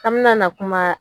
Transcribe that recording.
k'an bi na na kuma